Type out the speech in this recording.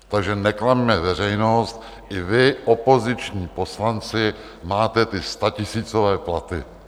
Takže neklamme veřejnost, i vy, opoziční poslanci, máte ty statisícové platy.